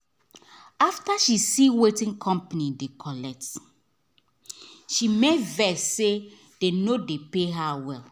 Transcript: after she see wetin company dey collect she make vex say dem no dey pay her well